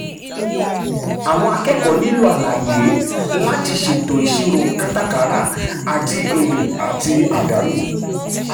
àwọn akẹ́kọ̀ọ́ nílò àlàyé láti ṣètò ìṣirò kátàkárà àti um èrè àti àdánù.